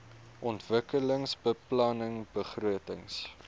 ontwikkelingsbeplanningbegrotings